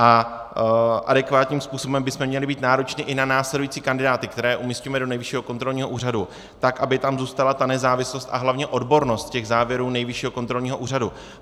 A adekvátním způsobem bychom měli být nároční i na následující kandidáty, které umisťujeme do Nejvyššího kontrolního úřadu, tak aby tam zůstala ta nezávislost a hlavně odbornost těch závěrů Nejvyššího kontrolního úřadu.